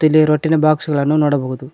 ಇಲ್ಲಿ ರೊಟ್ಟಿನ ಬಾಕ್ಸ್ ಗಳನ್ನು ನೋಡಬಹುದು